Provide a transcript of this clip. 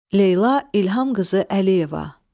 Leyla İlham qızı Əliyeva.